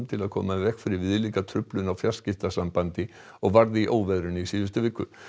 til að koma í veg fyrir viðlíka truflun á fjarskiptasambandi og varð í óveðrinu í síðustu viku